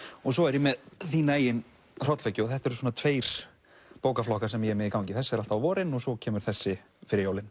svo er ég með þína eigin hrollvekju og þetta eru tveir bókaflokkar sem ég er með í gangi þessi er alltaf á vorin og svo kemur þessi fyrir jólin